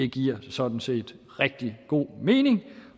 giver sådan set rigtig god mening